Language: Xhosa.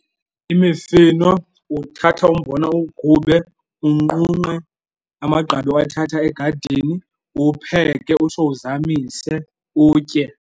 Imifino uthatha umbona uwugube, unqunqe amagqabi owathatha egadini, uwupheke utsho uzamise utye.